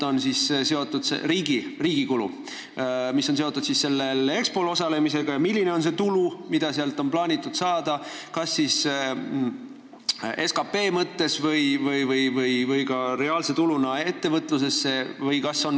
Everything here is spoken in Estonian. Kui suur on riigi kulu, mis on seotud Expol osalemisega, ja kui suur on tulu, mida on plaanitud sealt saada, kas SKT mõttes või ka reaalse tuluna ettevõtlusesse?